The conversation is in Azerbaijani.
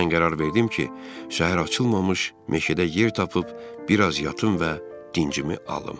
Mən qərar verdim ki, səhər açılmamış meşədə yer tapıb, bir az yatım və dincimi alım.